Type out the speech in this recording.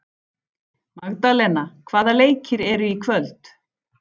Magdalena, hvaða leikir eru í kvöld?